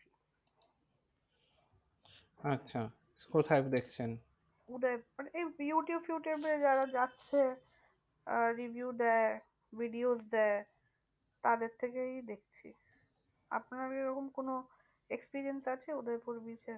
Experience আছে Udaipur bridge এ?